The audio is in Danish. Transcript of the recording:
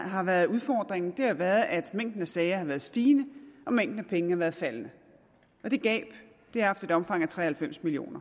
har været udfordringen har været at mængden af sager har været stigende og mængden af penge har været faldende det gab har haft et omfang af tre og halvfems million